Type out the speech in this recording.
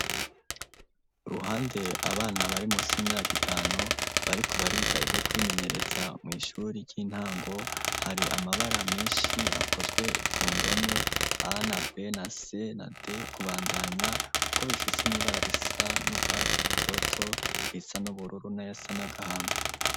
Uruhande abana bari munsi y'imyaka itanu bariko bariga ivyo kwimenyereza mw'ishuri ry'intango hari amabara meshi akozwe kundome A na B na C na D kubandanya kuko bifise n'ibara risa n'urwatsi rutoto risa n'ubururu nayasa n'agahama.